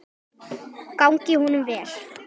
Gangi honum vel!